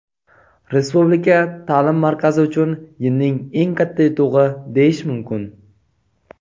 Respublika taʼlim markazi uchun yilning eng katta yutug‘i deyish mumkin.